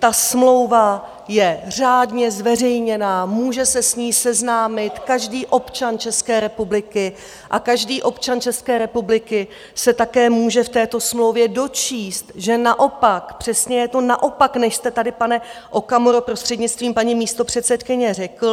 Ta smlouva je řádně zveřejněná, může se s ní seznámit každý občan České republiky a každý občan České republiky se také může v této smlouvě dočíst, že naopak přesně je to naopak, než jste tady, pane Okamuro, prostřednictvím paní místopředsedkyně, řekl.